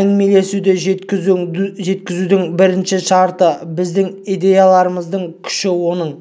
әңгімелесуді жеткізудің бірінші шарты біздің идеяларымыздың күші оның